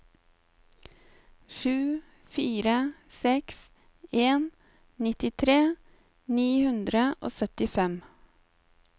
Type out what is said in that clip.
sju fire seks en nittitre ni hundre og syttifem